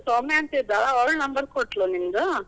ಸೌಮ್ಯಾ ಅಂತಿದಾಳ, ಅವಳು ನಂಬರ್ ಕೊಟ್ಲು, ನಿಮ್ದು.